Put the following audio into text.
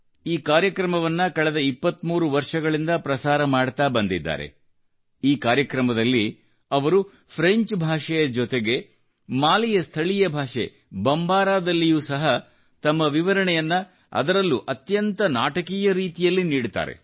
ಇದನ್ನು ಕಳೆದ 23 ವರ್ಷಗಳಿಂದ ಪ್ರಸಾರ ಮಾಡುತ್ತಾ ಬಂದಿರುತ್ತಾರೆ ಈ ಕಾರ್ಯಕ್ರಮದಲ್ಲಿ ಅವರು ಫ್ರೆಂಚ್ ಭಾಷೆಯ ಜೊತೆಗೆ ಮಾಲಿಯ ಸ್ಥಳೀಯ ಭಾಷೆ ಬಂಬಾರಾದಲ್ಲಿಯೂ ಸಹ ತಮ್ಮ ವಿವರಣೆಯನ್ನು ಅದರಲ್ಲೂ ಅತ್ಯಂತ ನಾಟಕೀಯ ರೀತಿಯಲ್ಲಿ ನೀಡುತ್ತಾರೆ